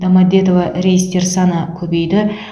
домодедово рейстер саны көбейді